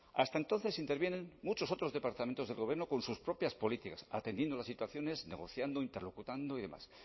hasta entonces intervienen muchos otros departamentos del gobierno con sus propias políticas atendiendo las situaciones negociando interlocutando y demás